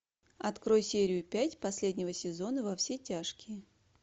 открой серию пять последнего сезона во все тяжкие